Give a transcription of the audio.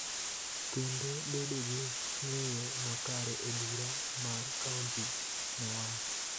kendo bedo gi ng�eyo makare e bura mar kaonti,� nowacho.